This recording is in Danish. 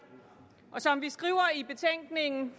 som vi skriver i betænkningen